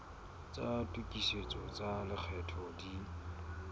tsa tokisetso tsa lekgetho di